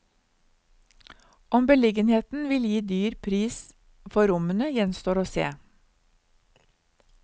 Om beliggenheten vil gi dyr pris for rommene, gjenstår å se.